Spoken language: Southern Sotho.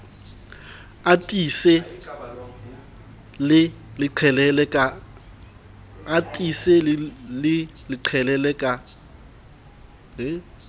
a tiise le qhelele ka